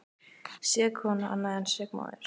Sek kona annað en sek móðir.